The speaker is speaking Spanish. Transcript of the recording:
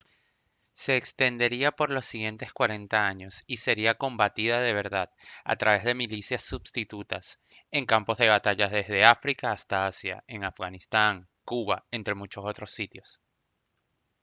se extendería por los siguientes 40 años y sería combatida de verdad a través de milicias substitutas en campos de batalla desde áfrica hasta asia en afganistán cuba entre muchos otros sitios